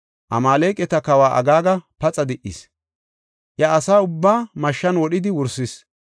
Amaaleqata kawa Agaaga paxa di77is; iya asa ubbaa mashshan wodhidi wursis.